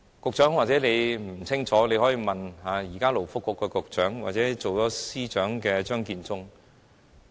局長，也許你不清楚，但你可以問問勞工及福利局局長或現為政務司司長的張建宗。